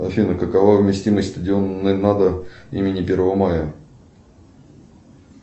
афина какова вместимость стадиона имени первого мая